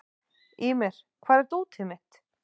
Ýmir, hvar er dótið mitt?